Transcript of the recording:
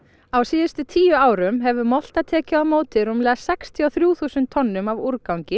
á síðustu tíu árum hefur molta tekið á móti rúmlega sextíu og þrjú þúsund tonnum af úrgangi